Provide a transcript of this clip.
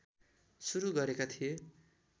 सुरु गरेका थिए